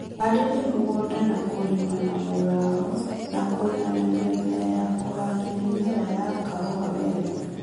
Harĩria mũgũnda na kũrĩma na mũrao na kũiganania mbere ya kũhanda mĩmera ya kahũa werũ